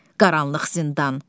Qaranlıq zindan.